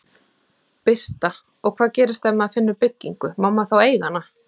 Birta: Og hvað gerist ef maður finnur byggingu, má maður þá eiga hana?